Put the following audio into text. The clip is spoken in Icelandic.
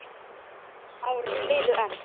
Árin liðu enn.